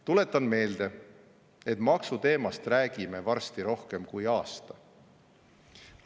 Tuletan meelde, et maksu teemast räägime varsti rohkem kui aasta.